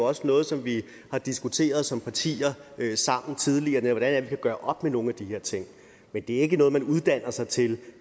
også noget som vi har diskuteret som partier tidligere det er vi kan gøre op med nogle af de her ting men det er ikke noget man uddanner sig til